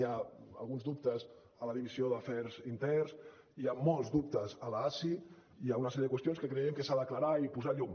hi han alguns dubtes a la divisió d’afers interns hi ha molts dubtes a l’asi i hi ha una sèrie de qüestions que creiem que s’han d’aclarir i posar hi llum